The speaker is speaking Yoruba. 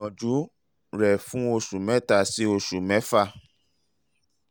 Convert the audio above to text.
o lè gbìyànjú rẹ̀ fún oṣù um mẹ́ta sí oṣù mẹ́fà